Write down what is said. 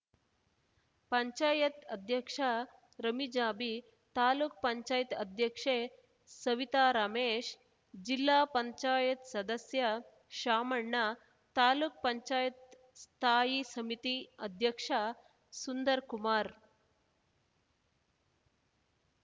ಪಂಚಾಯತ್ ಅಧ್ಯಕ್ಷ ರಮಿಜಾಬಿ ತಾಲೂಕ್ಪಂಚಾಯತ್ ಉಪಾಧ್ಯಕ್ಷೆ ಸವಿತಾ ರಮೇಶ್‌ ಜಿಲ್ಲಾಪಂಚಾಯತ್ ಸದಸ್ಯ ಶಾಮಣ್ಣ ತಾಲೂಕ್ಪಂಚಾಯತ್ ಸ್ಥಾಯಿ ಸಮಿತಿ ಅಧ್ಯಕ್ಷ ಸುಂದರ್‌ಕುಮಾರ್‌